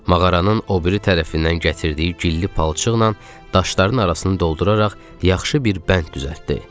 Mağaranın o biri tərəfindən gətirdiyi gilli palçıqla daşların arasını dolduraraq yaxşı bir bənd düzəltdi.